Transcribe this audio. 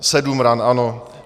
Sedm ran, ano.